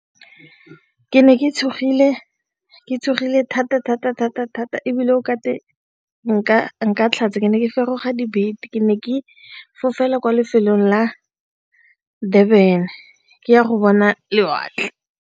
Ke ne ke tshogile, ke tshogile thata thata thata thata ebile o ka tlhatsa, ke ne ke feroga dibete, ke ne ke fofela kwa lefelong la Durban ke ya go bona lewatle.